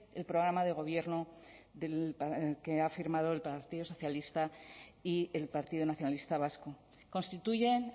el programa de gobierno que ha firmado el partido socialista y el partido nacionalista vasco constituyen